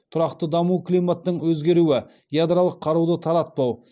тұрақты даму климаттың өзгеруі ядролық қаруды таратпау